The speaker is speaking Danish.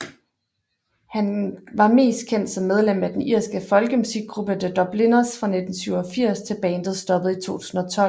Han car mest kendt som medlem af den irske folkemusikgruppe The Dubliners fra 1987 til bandet stoppede i 2012